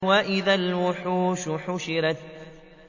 وَإِذَا الْوُحُوشُ حُشِرَتْ